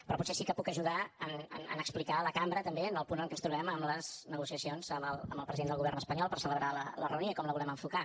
però potser sí que puc ajudar a explicar a la cambra també en el punt en què ens trobem en les negociacions amb el president del govern espanyol per celebrar la reunió i com la volem enfocar